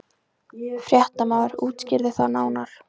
Fréttamaður: Útskýrðu það nánar?